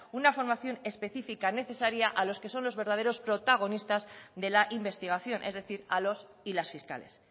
una formación específica necesaria a los que son los verdaderos protagonistas de la investigación es decir a los y las fiscales